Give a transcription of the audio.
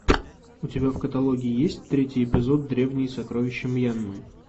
у тебя в каталоге есть третий эпизод древние сокровища мьянмы